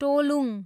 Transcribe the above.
टोलुङ